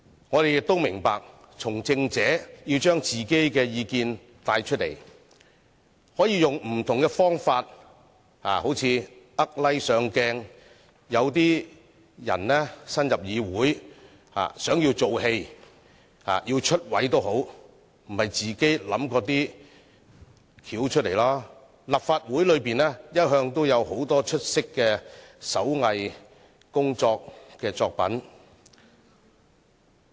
我們亦明白，從政者為了帶出自己的意見，可以使用不同的方法，例如"呃 like"、"博上鏡"，而有些人新加入議會，由於想"做戲"、想"出位"，便自己想出一些方法，立法會一向也有很多出色的手工藝作品。